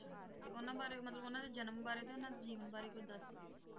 ਤੇ ਉਹਨਾਂ ਬਾਰੇ ਮਤਲਬ ਉਹਨਾਂ ਦੇ ਜਨਮ ਬਾਰੇ ਤੇ ਉਹਨਾਂ ਦੇ ਜੀਵਨ ਬਾਰੇ ਕੁੱਝ ਦੱਸੋ।